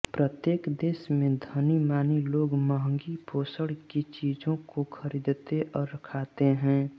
प्रत्येक देश में धनीमानी लोग मँहगी पोषण की चीजों को खरीदते और खाते हैं